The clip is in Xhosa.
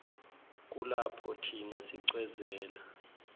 kulapho thina sicwezela